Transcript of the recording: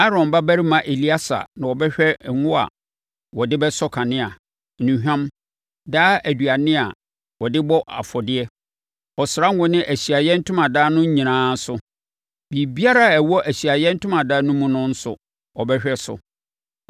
“Aaron babarima Eleasa na ɔbɛhwɛ ngo a wɔde bɛsɔ kanea, nnuhwam, daa aduane a wɔde bɔ afɔdeɛ, ɔsra ngo ne Ahyiaeɛ Ntomadan no nyinaa so. Biribibiara a ɛwɔ Ahyiaeɛ Ntomadan no mu no nso, ɔbɛhwɛ so.”